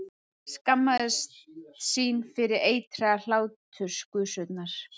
Skammaðist sín fyrir eitraðar hláturgusurnar.